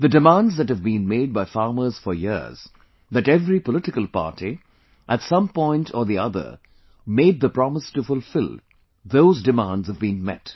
The demands that have been made by farmers for years, that every political party, at some point or the other made the promise to fulfill, those demands have been met